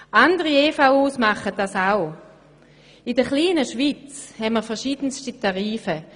In der kleinen Schweiz haben wir verschiedenste Tarife.